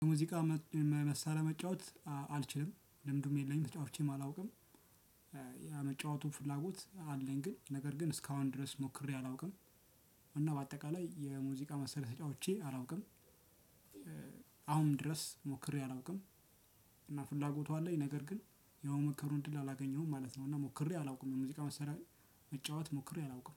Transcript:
የሙዚቃ መሳሪያ መጫወት አልችልም ልምዱም የለኝም ተጫውቼም አላውቅም። የመጫወቱ ፍላጎት አለኝ ግን ነገር ግን እስካሁን ድረስ ሞክሬ አላውቅም። እና በአጠቃላይ የሙዚቃ መሳሪያ ተጫውቼ አላውቅም። አሁንም ድረስ ሞክሬ አላውቅም። እና ፍላጎቱ አለኝ ነገር ግን የሞመከሩን እንድል አላገኘሁም ማለት ነው። እና ሞክሬ አላውቅም ሙዚቃ መሳሪያ መጫወት ሞክሬ አላውቅም